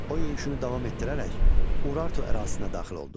O yürüşünü davam etdirərək Urartu ərazisinə daxil oldu.